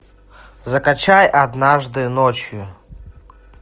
закачай однажды ночью